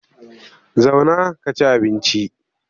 Zauna ka ci abinci!